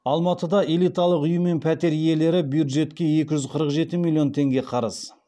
алматыда элиталық үй мен пәтер иелері бюджетке екі жүз қырық жеті миллион теңге қарыз